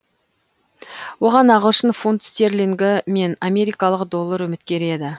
оған ағылшын фунт стерлингі мен америкалық доллар үміткер еді